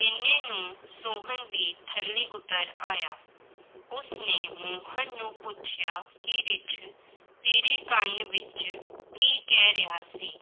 ਇੰਨੇ ਨੂੰ ਸੋਹਨ ਵੀ ਥੱਲੇ ਉੱਤਰ ਆਇਆ, ਉਸਨੇ ਮੋਹਨ ਨੂੰ ਪੁੱਛਿਆ ਕਿ ਰਿੱਛ ਤੇਰੇ ਕੰਨ ਵਿੱਚ ਕੀ ਕਹਿ ਰਿਹਾ ਸੀ,